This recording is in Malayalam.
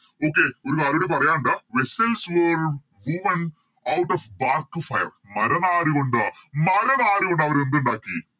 Okay ഒരു കാര്യുടി പറയാനുണ്ട് Out of dark fire മര നാരുകൊണ്ട് മര നാരുകൊണ്ട് അവരെന്തുണ്ടാക്കി